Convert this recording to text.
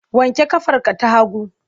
Wanke ƙafarka ta hagu!